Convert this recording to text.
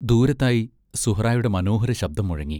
ദൂരത്തായി സുഹറായുടെ മനോഹര ശബ്ദം മുഴങ്ങി.